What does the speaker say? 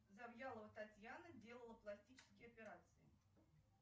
завьялова татьяна делала пластические операции